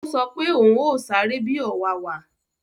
Ó sọ pé òún yóò sáré bi ọ̀wàwà